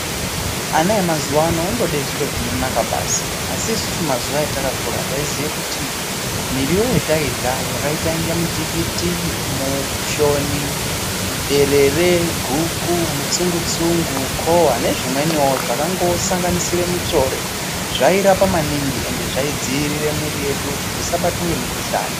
Ana emazuwa ano andode zviro zvinonaka basi. Asi isusu mazuwa atakakura taiziye kuti muriwo yatairya yakaitenge mutikiti, mushoni, derere, guku, mutsungu-tsungu, kowa nezvimweniwo zvakango sanganisire mutsvore zvairapa maningi ende zvaidzirire mwiri yedu kuti isabatwa ngemikuhlani.